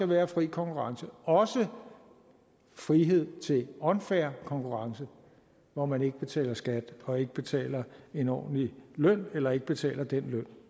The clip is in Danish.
være fri konkurrence også frihed til unfair konkurrence hvor man ikke betaler skat og ikke betaler en ordentlig løn eller ikke betaler den løn